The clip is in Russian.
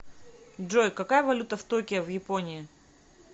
джой какая валюта в токио в японии